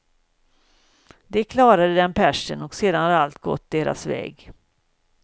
De klarade den pärsen och sedan har allt gått deras väg.